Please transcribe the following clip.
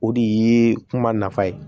O de ye kuma nafa ye